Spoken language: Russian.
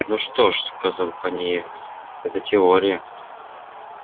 ну что ж сказал пониетс это теория